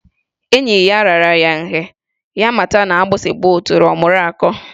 Enyi ya raara ya nye, ya amata na agbịsị gbaa otule ọ mụru akọ.